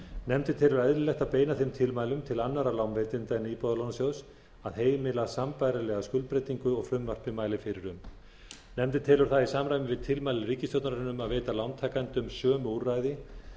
nefndin telur eðlilegt að beina þeim tilmælum til annarra lánveitenda en íbúðalánasjóðs að heimila sambærilega skuldbreytingu og frumvarpið mælir fyrir um nefndin telur það í samræmi við tilmæli ríkisstjórnarinnar um að veita lántakendum sömu úrræði